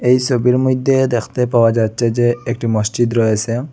এই সবির মইধ্যে দেখতে পাওয়া যাচ্ছে যে একটি মসজিদ রয়েসে।